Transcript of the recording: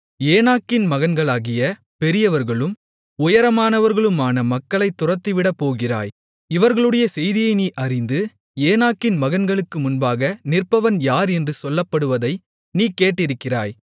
ஏனாக்கின் மகன்களாகிய பெரியவர்களும் உயரமானவர்களுமான மக்களைத் துரத்திவிடப்போகிறாய் இவர்களுடைய செய்தியை நீ அறிந்து ஏனாக்கின் மகன்களுக்கு முன்பாக நிற்பவன் யார் என்று சொல்லப்படுவதை நீ கேட்டிருக்கிறாய்